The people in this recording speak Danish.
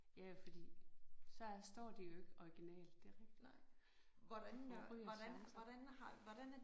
Ja fordi så står de jo ikke originalt det er rigtigt. Og ryger charmen så